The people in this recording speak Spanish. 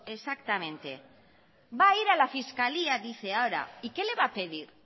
exactamente va a ir a la fiscalía dice ahora y qué le va a pedir